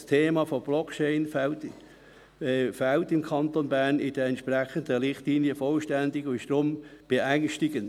Das Thema von Blockchain fehlt im Kanton Bern in den entsprechenden Richtlinien vollständig, und das ist beängstigend.